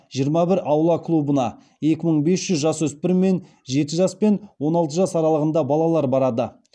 жиырма бір аула клубына екі мың бес жүз жасөспірім мен жеті жас пен он алты жас аралығында балалар барады